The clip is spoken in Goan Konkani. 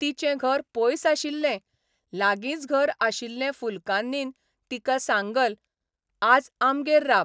तिचें घर पयस आशिल्ले लागींच घर आशिल्ले फुलकान्नीन तिका सांगल 'आज आमगेर राब.